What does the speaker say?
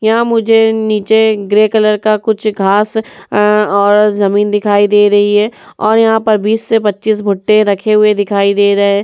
यहाँ मुझे नीचे ग्रे कलर का कुछ घांस अ और जमीन दिखाई दे रही है और यहाँ पर बिस से पचीस भुट्टे रखे हुए दिखाई दे रहे हैं।